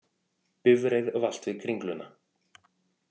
Bifreið valt við Kringluna